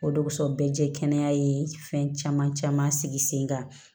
O dugussɛ bɛɛ jɛ kɛnɛya ye fɛn caman caman sigi sen kan